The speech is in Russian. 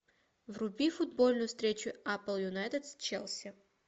вруби футбольную встречу апл юнайтед с челси